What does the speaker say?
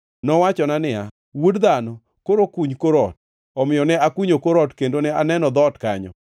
Nowachona niya, “Wuod dhano, koro kuny kor ot.” Omiyo ne akunyo kor ot kendo ne aneno dhoot kanyo.